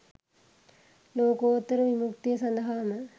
ලෝකෝත්තර විමුක්තිය සඳහාම